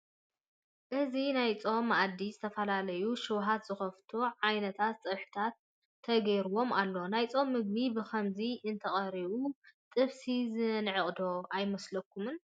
እዚ ናይ ፆም መኣዲ ዝተፈላለዩ ሽውሃት ዝኸፍቱ ዓይነት ፀብሕታት ተገይሮምሉ ኣለዉ፡፡ ናይ ፆም ምግቢ ብኸምዚ እንተቐሪቡ ጥብሲ ዘንዕቕ ዶ ኣይመስለኩምን?